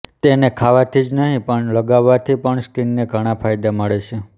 તેને ખાવાથી જ નહીં પણ લગાવવાથી પણ સ્કિનને ઘણા ફાયદા મળે છે